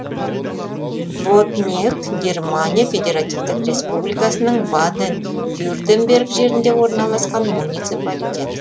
боднег германия федеративтік республикасының баден вюртемберг жерінде орналасқан муниципалитет